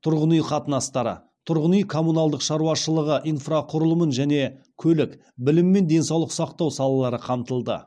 тұрғын үй қатынастары тұрғын үй коммуналдық шаруашылығы инфрақұрылым және көлік білім мен денсаулық сақтау салалары қамтылды